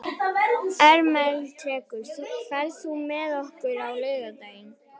Ermenrekur, ferð þú með okkur á laugardaginn?